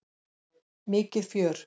Mikið fjör!